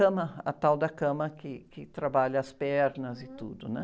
Cama, a tal da cama que, que trabalha as pernas e tudo, né?